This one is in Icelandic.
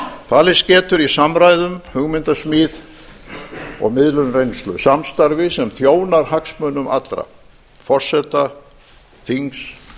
falist getur í samræðum hugmyndasmíð og miðlun reynslu samstarfi sem þjónar hagsmunum allra forseta þings